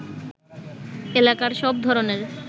এলাকার সব ধরণের